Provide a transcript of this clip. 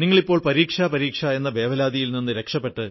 നിങ്ങളിപ്പോൾ പരീക്ഷ പരീക്ഷ എന്ന വേവലാതിയിൽ നിന്ന് രക്ഷപ്പെട്ട്